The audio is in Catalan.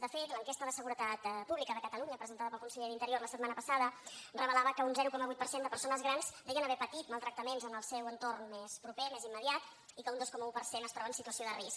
de fet l’enquesta de seguretat pública de catalunya presentada pel conseller d’interior la setmana passada revelava que un zero coma vuit per cent de persones grans deien haver patit maltractaments en el seu entorn més proper més immediat i que un dos coma un per cent es troba en situació de risc